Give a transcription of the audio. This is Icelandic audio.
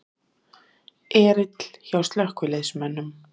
Erill hjá slökkviliðsmönnum